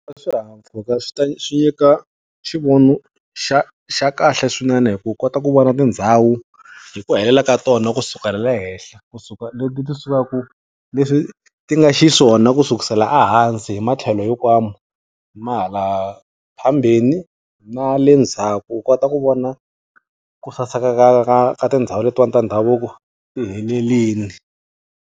Swihahampfhuka swi ta swi nyika xivono xa xa kahle swinene hi ku kota ku vona tindhawu, hi ku helela ka tona kusukela le henhla. Ku suka leti ti sukaku leswi ti nga xiswona ku sukusela ehansi hi matlhelo hinkwawo ma hala phambeni, ma le ndzaku. U kota ku vona kusaseka ka ka ka tindhawu letiwani ta ndhavuko ku helerile.